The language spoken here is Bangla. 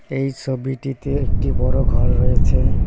এই ছবিটিতে একটি বড়ো ঘর রয়েছে।